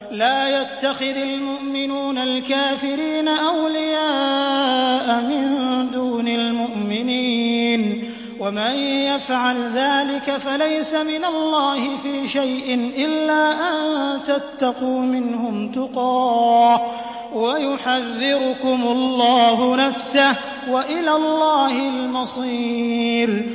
لَّا يَتَّخِذِ الْمُؤْمِنُونَ الْكَافِرِينَ أَوْلِيَاءَ مِن دُونِ الْمُؤْمِنِينَ ۖ وَمَن يَفْعَلْ ذَٰلِكَ فَلَيْسَ مِنَ اللَّهِ فِي شَيْءٍ إِلَّا أَن تَتَّقُوا مِنْهُمْ تُقَاةً ۗ وَيُحَذِّرُكُمُ اللَّهُ نَفْسَهُ ۗ وَإِلَى اللَّهِ الْمَصِيرُ